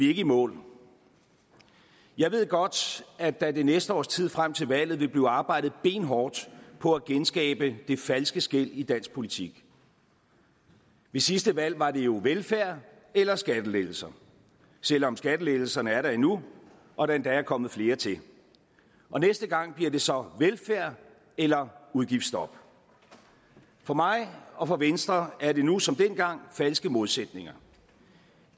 ikke i mål jeg ved godt at der det næste års tid frem til valget vil blive arbejdet benhårdt på at genskabe det falske skel i dansk politik ved sidste valg var det jo velfærd eller skattelettelser selv om skattelettelserne er der endnu og der endda er kommet flere til næste gang bliver det så velfærd eller udgiftsstop for mig og for venstre er det nu som dengang falske modsætninger